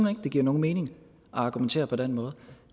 at det giver nogen mening at argumentere på den måde